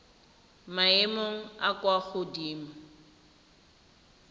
maemong a a kwa godimo